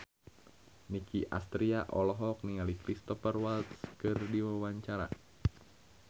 Nicky Astria olohok ningali Cristhoper Waltz keur diwawancara